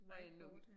I know